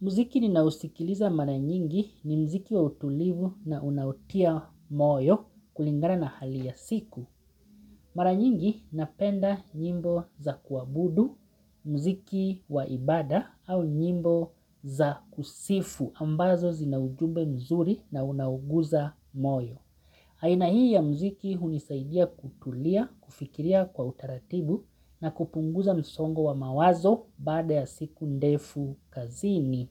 Muziki ninausikiliza mara nyingi ni muziki wa utulivu na unaotia moyo kulingana na hali ya siku. Mara nyingi napenda nyimbo za kuabudu, muziki wa ibada au nyimbo za kusifu ambazo zina ujumbe mzuri na unaoguza moyo. Aina hii ya muziki hunisaidia kutulia, kufikiria kwa utaratibu na kupunguza msongo wa mawazo baada ya siku ndefu kazini.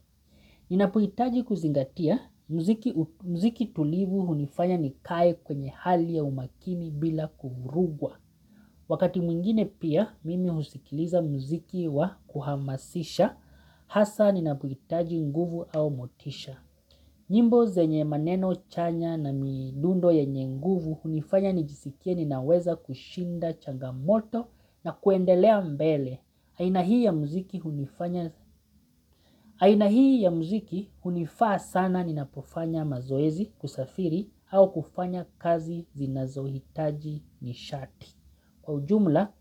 Ninapohitaji kuzingatia, muziki tulivu hunifanya nikae kwenye hali ya umakini bila kuvurugwa. Wakati mwingine pia, mimi husikiliza muziki wa kuhamasisha, hasa ninapohitaji nguvu au motisha. Nyimbo zenye maneno chanya na midundo yenye nguvu hunifanya nijisikie ninaweza kushinda changamoto na kuendelea mbele aina hii ya muziki aina hii ya muziki hunifaa sana ninapofanya mazoezi kusafiri au kufanya kazi zinazohitaji nishati. Kwa ujumla,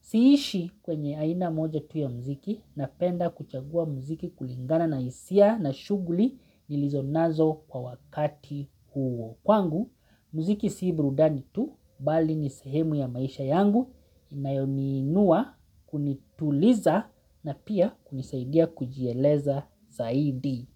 siishi kwenye aina moja tu ya muziki napenda kuchagua muziki kulingana na hisia na shughuli nilizo nazo kwa wakati huo. Kwangu, muziki si burudani tu bali ni sehemu ya maisha yangu inayoni inua kunituliza na pia kunisaidia kujieleza zaidi.